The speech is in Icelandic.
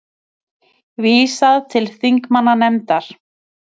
Vísað til þingmannanefndar